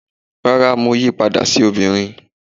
rara, mo yí pada sí ọbirín